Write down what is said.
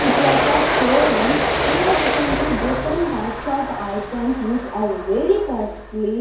it was showroom here we can see different types of items which are very costly.